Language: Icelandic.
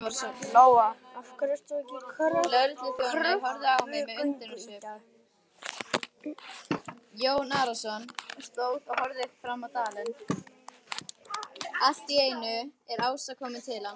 Lóa: Af hverju ert þú í kröfugöngu í dag?